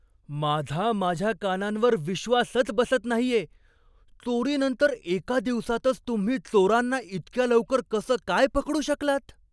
माझा माझ्या कानांवर विश्वासच बसत नाहीये. चोरीनंतर एका दिवसातच तुम्ही चोरांना इतक्या लवकर कसं काय पकडू शकलात?